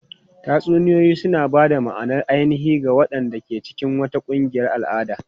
Tatsuniyoyi suna ba da ma'anar ainihi ga waɗanda ke cikin wata ƙungiyar al'ada.